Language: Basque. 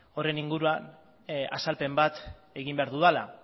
horren inguruan azalpen bat egin behar dudala